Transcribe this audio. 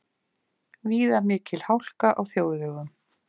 Víða mikil hálka á þjóðvegum